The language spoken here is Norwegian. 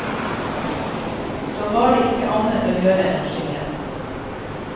Så var det ikke annet å gjøre enn å skilles.